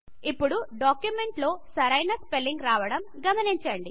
ఇప్పుడు డాక్యుమెంట్లో సరైన స్పెల్లింగ్ రావడం గమనించండి